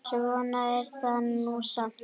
Svona er það nú samt.